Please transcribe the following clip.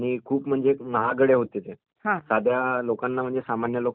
साध्या लोकांना म्हणेज सामान्य लोकांना ते घेणं शक्य नव्हते